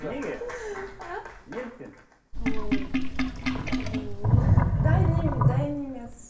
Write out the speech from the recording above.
неге а неліктен ммм білмеймін дайын дайын емес